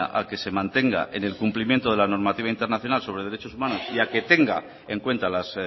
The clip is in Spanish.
a que se mantenga en el cumplimiento de la normativa internacional sobre derechos humanos y a que tenga en cuenta las